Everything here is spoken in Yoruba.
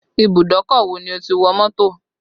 Ìbùdókọ̀ wo ni o ti wọ mọ́tò